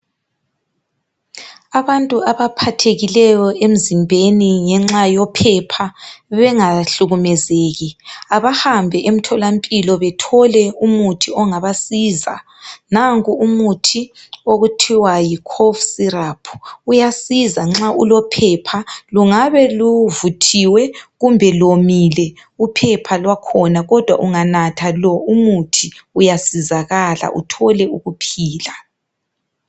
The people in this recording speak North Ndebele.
Abantu abaphathekileyo emzimbeni ngenxa yophepha bengahlukumezeki, abahambe emtholampilo bethole umuthi ongabasiza. Nanku umuthi okuthiwa yiCough syrup uyasiza nxa ulophepha lungabe luvuthiwe kumbe lomile uphepha lwakhona kodwa unganatha lo umuthi uyasizakala uthole ukuphila.